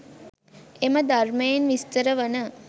එම ධර්මයෙන් විස්තර වන